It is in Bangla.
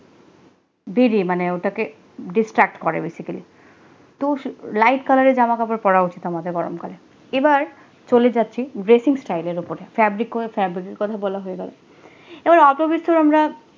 দেদে মানে ওটাকে distract করে basically তো light colour রের জামা কাপড় পড়া উচিত আমাদের গরম কালে, এবার চলে যাচ্ছি dressing style এর উপরে fabric febric কের কথা বলা হয় গেলো এবার অল্প বিস্তর আমরা